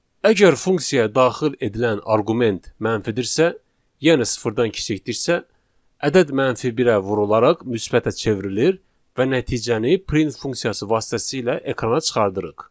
Əgər funksiyaya daxil edilən arqument mənfidirsə, yəni sıfırdan kiçikdirsə, ədəd mənfi birə vurularaq müsbətə çevrilir və nəticəni print funksiyası vasitəsilə ekrana çıxarırıq.